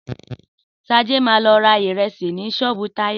Sade ma lọ ra ìrẹsì ni ṣọ́ọ̀bú Táyọ̀